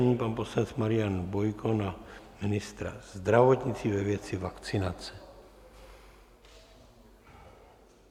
Nyní pan poslanec Marian Bojko na ministra zdravotnictví ve věci vakcinace.